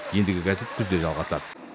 ендігі нәсіп күзде жалғасады